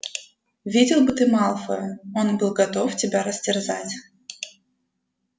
видел бы ты малфоя он был готов тебя растерзать